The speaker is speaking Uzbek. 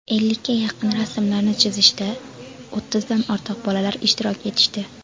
Ellikka yaqin rasmlarni chizishda o‘ttizdan ortiq bolalar ishtirok etishdi.